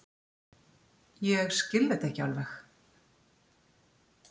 Ég skil þetta ekki alveg.